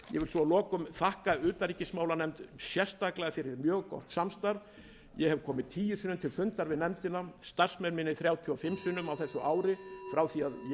að lokum þakka utanríkismálanefnd sérstaklega fyrir mjög gott samstarf ég hef komið tíu sinnum til fundar við nefndina starfsmenn mínir þrjátíu og fimm sinnum á þessu ári frá því að ég